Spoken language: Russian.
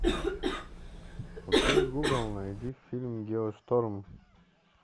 окей гугл найди фильм геошторм